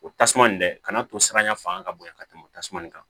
O tasuma nin dɛ ka na to siranya fanga ka bon yan ka tɛmɛ tasuma nin kan